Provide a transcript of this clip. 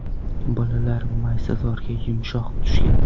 Bolalar maysazorga, yumshoq tushgan.